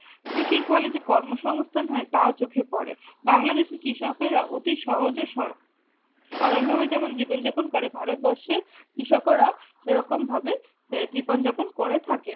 কৃষির ফলে যে কর্মসংস্থান হয় তাও চোখে পড়ে। বাংলাদেশের কৃষকেরা অতি সহজে সর সরল ভাবে যেমন জীৱন যাপন করে ভারতবর্ষে কৃষকেরা সেরকম ভাবে সে জীবন যাপন করে থাকে।